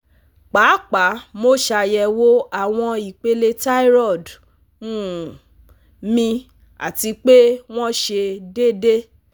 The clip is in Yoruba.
Paapaa mo ṣayẹwo awọn ipele thyroid um mi ati pe wọn sẹ deede